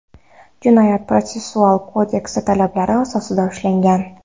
Jinoyat-protsessual kodeks talablari asosida ushlangan.